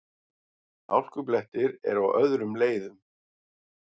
Hálkublettir eru á öðrum leiðum